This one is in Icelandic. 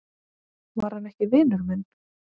Var hann ekki vinur minn?